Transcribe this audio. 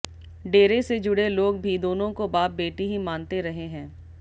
डेरे से जुड़े लोग भी दोनों को बाप बेटी ही मानते रहे हैं